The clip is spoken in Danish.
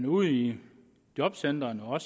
ude i jobcentrene og